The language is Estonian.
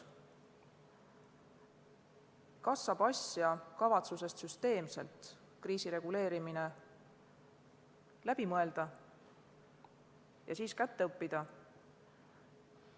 Kas saab asja kavatsusest kriisireguleerimine süsteemselt läbi mõelda ja siis selgeks õppida?